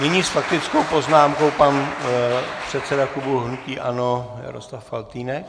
Nyní s faktickou poznámkou pan předseda klubu hnutí ANO Jaroslav Faltýnek.